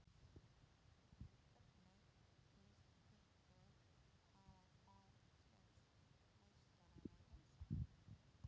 Hvernig líst ykkur á að fá Íslandsmeistarana í heimsókn?